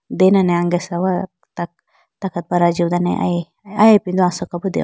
denane angesha wa tak takatwar ajiw dane aya ipindo asoka bi deho.